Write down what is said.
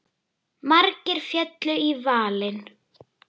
Margir féllu í valinn.